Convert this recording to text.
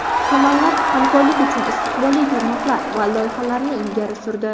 Tomonlar hamkorlik uchun istiqbolli tarmoqlar va loyihalarni ilgari surdi.